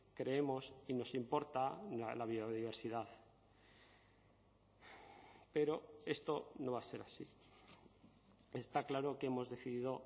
creemos y nos importa la biodiversidad pero esto no va a ser así está claro que hemos decidido